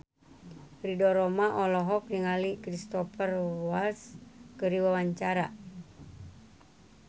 Ridho Roma olohok ningali Cristhoper Waltz keur diwawancara